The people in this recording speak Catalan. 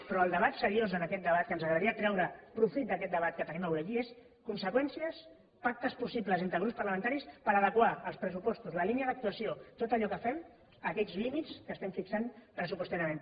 però el debat seriós en aquest debat el que ens agradaria treure de profit d’aquest debat que tenim avui aquí és conseqüències pactes possibles entre grups parlamentaris per adequar els pressupostos la línia d’actuació tot allò que fem a aquells límits que estem fixant pressupostàriament